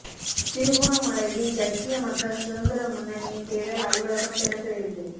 திருகோணமலையில் ஜக்கிய மக்கள் சுதந்திர முன்னணியின் தேர்தல் அலுவலகம் திறந்து வைப்பு